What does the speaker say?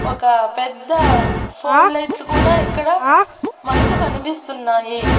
ఒక పెద్ద ఫోల్ లైట్లు కూడా ఇక్కడ మనకు కనిపిస్తున్నాయి.